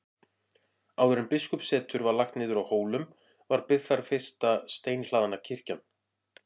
Áður en biskupssetur var lagt niður á Hólum var byggð þar fyrsta steinhlaðna kirkjan.